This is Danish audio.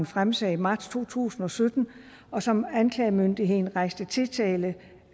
fremsagde i marts to tusind og sytten og som anklagemyndigheden rejste tiltale